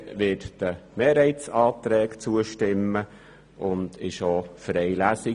Die EVP wird den Mehrheitsanträgen zustimmen und ist auch für eine Lesung.